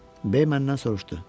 B məndən soruşdu: